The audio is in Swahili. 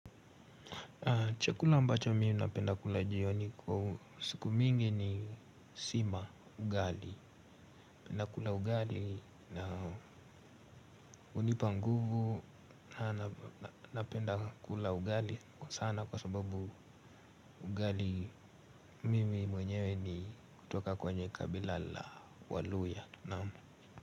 Chakula ambacho mimi napenda kula jioni kwa siku mingi ni sima ugali. Penda kula ugali na hunipa nguvu na napenda kula ugali kwa sana kwa sababu ugali mimi mwenyewe ni kutoka kwenye kabila la waluya.